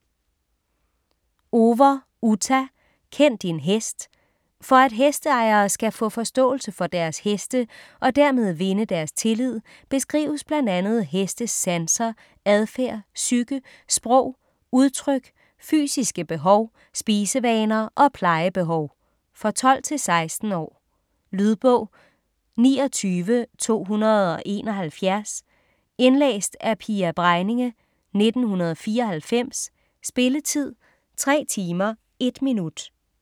Over, Uta: Kend din hest For at hesteejere skal få forståelse for deres heste og dermed vinde deres tillid beskrives bl.a. hestes sanser, adfærd, psyke, sprog, udtryk, fysiske behov, spisevaner og plejebehov. For 12-16 år. Lydbog 29271 Indlæst af Pia Bregninge, 1994. Spilletid: 3 timer, 1 minut.